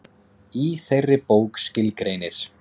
Í þeirri bók skilgreinir